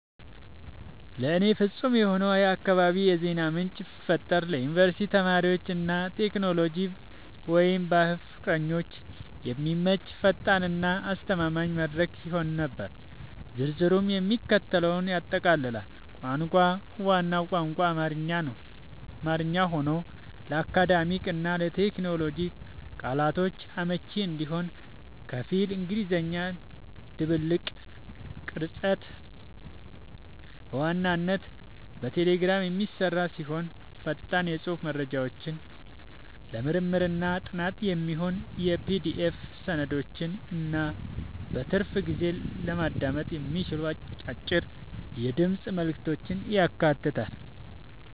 ለእኔ ፍጹም የሆነውን የአካባቢ የዜና ምንጭ ብፈጥር ለዩኒቨርሲቲ ተማሪዎች እና ለቴክኖሎጂ/ባህል ፍቅረኞች የሚመች፣ ፈጣን እና አስተማማኝ መድረክ ይሆን ነበር። ዝርዝሩም የሚከተለውን ያጠቃልላል - ቋንቋ፦ ዋናው ቋንቋ አማርኛ ሆኖ፣ ለአካዳሚክ እና ለቴክኖሎጂ ቃላቶች አመቺ እንዲሆን ከፊል እንግሊዝኛ ድብልቅ። ቅርጸት፦ በዋናነት በቴሌግራም የሚሰራ ሲሆን፣ ፈጣን የጽሑፍ መረጃዎችን፣ ለምርምርና ጥናት የሚሆኑ የPDF ሰነዶችን እና በትርፍ ጊዜ ለማዳመጥ የሚሆኑ አጫጭር የድምፅ መልዕክቶችን ያካትታል።